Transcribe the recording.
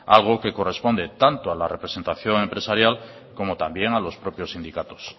algo que corresponde tanto a la representación empresarial como también a los propios sindicatos